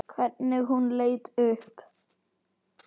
Hvernig hún leit upp.